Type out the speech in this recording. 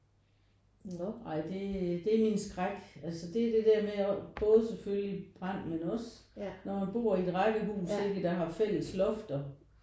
Ej det det er min skræk altså det er det der med at både selvfølgelig brand men også når man bor i et rækkehus ikke der har fælles lofter